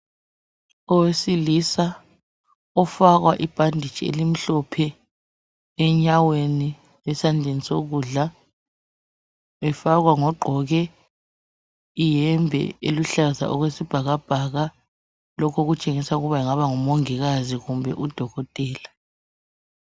Owesilisa ofakwa ibhanditshi elimhlophe enyaweni esandleni sokudla, efakwa ngoqgoke iyembe eluhlaza okwesibhakabhaka lokhu okutshengisa ukuthi angabe ngumongikazi kumbe udokotela